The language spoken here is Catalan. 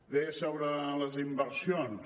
bé sobre les inversions